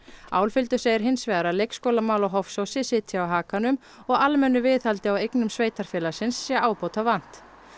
Álfhildur segir hins vegar að leikskólamál á Hofsósi sitji á hakanum og almennu viðhaldi á eignum sveitarfélagsins sé ábótavant